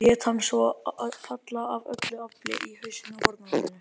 Lét hann svo falla AF ÖLLU AFLI í hausinn á fórnarlambinu.